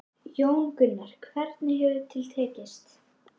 Jón Gunnar, hvernig hefur til tekist?